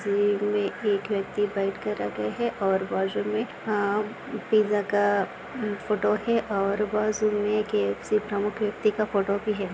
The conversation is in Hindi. इस इमेज मे एक व्यक्ति बैठकर रखे है और बाजूमे अ पिज़्ज़ा का फोटो है और बाजूमे एक केएफसी प्रमुख व्यक्ति का फोटो भी है।